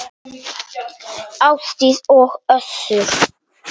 Ásdís og Össur.